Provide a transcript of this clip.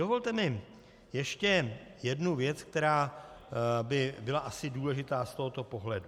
Dovolte mi ještě jednu věc, která by byla asi důležitá z tohoto pohledu.